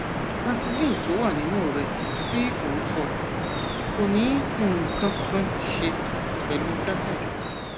vaseline tó wà nínú rẹ tí o ń sọ kò ní nǹkan kan ṣe pẹlú latex